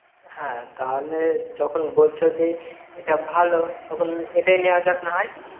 হ্যাঁ তাহলে যখন বলছো যে এটা ভালো তখন এটায় নেওয়া যাক নাহয়ে